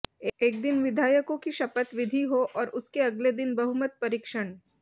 एक दिन विधायकों की शपथ विधि हो और उसके अगले दिन बहुमत परीक्षण